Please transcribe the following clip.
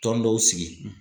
Tɔn dɔw sigi.